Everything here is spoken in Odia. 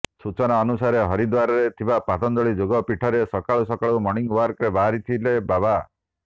ସୂଚନା ଅନୁସାରେ ହରିଦ୍ୱାରରେ ଥିବା ପତଞ୍ଜଳି ଯୋଗ ପୀଠରେ ସକାଳୁ ସକାଳୁ ମର୍ଣ୍ଣିଂ ୱାକରେ ବାହାରିଥିଲେ ବାବା